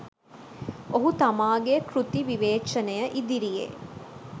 ඔහු තමාගේ කෘති විවේචනය ඉදිරියේ